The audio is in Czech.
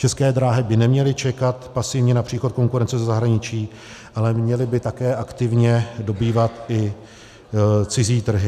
České dráhy by neměly čekat pasivně na příchod konkurence ze zahraničí, ale měly by také aktivně dobývat i cizí trhy.